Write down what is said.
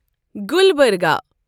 Gulbarga